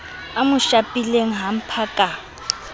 a mo shapileng hamper ka